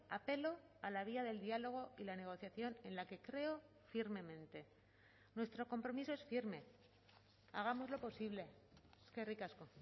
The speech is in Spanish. apelo a la vía del diálogo y la negociación en la que creo firmemente nuestro compromiso es firme hagámoslo posible eskerrik asko